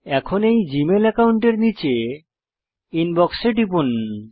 এখন এই জীমেল অ্যাকাউন্টের নীচে ইনবক্স এ টিপুন